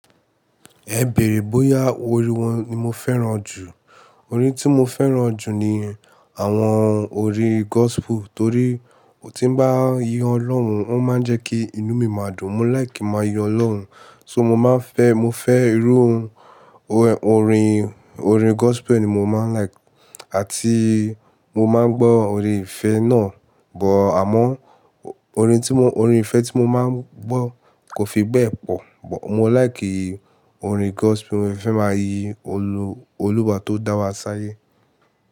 Ẹ bèrè bóyá orin wo ni mo fẹ́ràn jù. Orin tí mo fẹ́ràn jù ni àwọn orin gospel, torí tí ń bá yọ Ọlọ́run, ó máa ń jẹ́ kí inú mi máa dùn. Mo like kin máa yọ Ọlọ́run, so mo máa ń fẹ́, mo fẹ́ ìróhun. Orin, orin gospel ni mo máa ń like, àti mo máa ń gbọ́ orin ìfẹ́ náà, but— àmọ́ orin tí mo, orin ìfẹ́ tí mo máa ń gbọ́ kò fi bẹ́ẹ̀ pọ̀, but mo like orin gospel, mo fẹ́ máa yí olúba tó dá wa sáyé.